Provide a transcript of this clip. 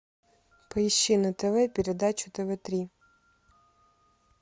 поищи на тв передачу тв три